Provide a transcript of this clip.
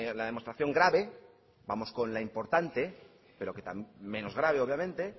la demostración grave vamos con la importante pero que menos grave obviamente